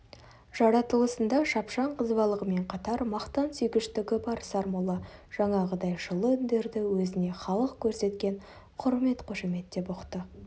жаратылысында шапшаң қызбалығымен қатар мақтан сүйгіштігі бар сармолла жаңағыдай жылы үндерді өзіне халық көрсеткен құрмет-қошемет деп ұқты